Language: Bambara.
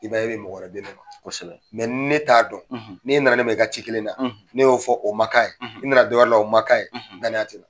I b'a y' e bɛ mɔgɔ wɛrɛ di ne ma; Kosɛbɛ; ne t'a don; n' e nana ne ma i ka ci kelenna; ne y'o fɔ o ma k' a ye; i nana dɔ wɛrɛ la o ma k'a ye; danaya te yen.